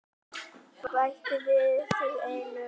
Bættu við sig einum.